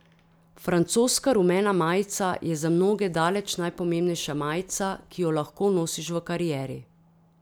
Francoska rumena majica je za mnoge daleč najpomembnejša majica, ki jo lahko nosiš v karieri.